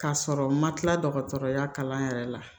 K'a sɔrɔ u ma tila dɔgɔtɔrɔya kalan yɛrɛ la